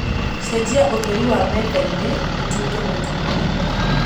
cejia ūtheri wa methainī ūtuīke mūtune